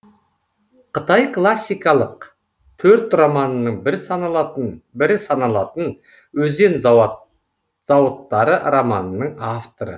қытай классикалық төрт романының бірі саналатын өзен зауыттары романының авторы